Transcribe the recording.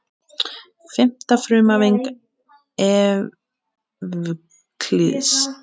Fimmta frumhæfing Evklíðs.